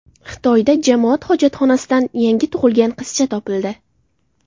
Xitoyda jamoat hojatxonasidan yangi tug‘ilgan qizcha topildi.